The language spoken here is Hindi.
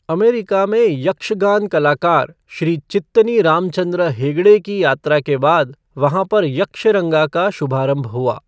अमेरिका में यक्षगान कलाकार श्री चित्तनी रामचंद्र हेगड़े की यात्रा के बाद वहाँ पर यक्षरंगा का शुभारंभ हुआ।